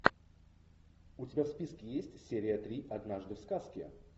у тебя в списке есть серия три однажды в сказке